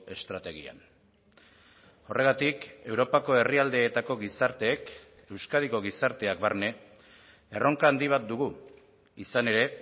estrategian horregatik europako herrialdeetako gizarteek euskadiko gizarteak barne erronka handi bat dugu izan ere